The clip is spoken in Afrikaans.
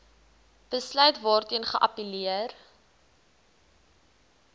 besluit waarteen geappelleer